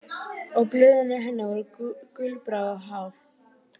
Og blöðin í henni voru gulbrún og hál.